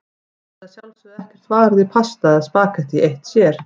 Það er að sjálfsögðu ekkert varið í pasta eða spaghetti eitt sér.